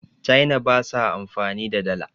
china ba sa amfani da Dala